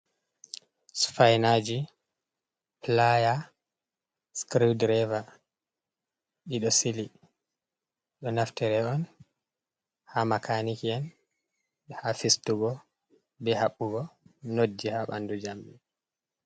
Sfinaji, playa, scriwdrever, ɗiɗo sili ɗo, naftiri on ha macaniki’en ha fistugo, be habbugo, nodji ha ɓanɗu jamdi.